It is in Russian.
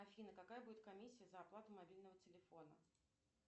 афина какая будет комиссия за оплату мобильного телефона